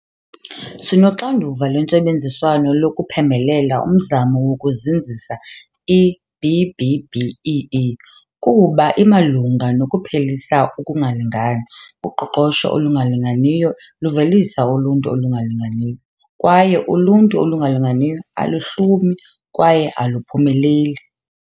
Sinoxanduva lwentsebenziswano lokuphembelela umzamo wokuzinzisa i-B-BBEE kuba imalunga nokuphelisa ukungalingani. Uqoqosho olungalinganiyo luvelisa uluntu olungalinganiyo, kwaye uluntu olungalinganiyo aluhlumi kwaye aluphumeleli.